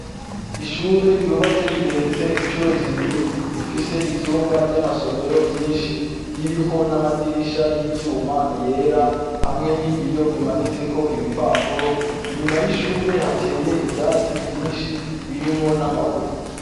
Ishure ryubatse rigeretse icuro zibiri rifise ivyumba vyamasomero vyinshi ririko namadirisha yivyuma yera hamwe nibiyo bimanitseko ibipapuro inyuma yishure hateye ivyatsi vyinshi birimwo namabuye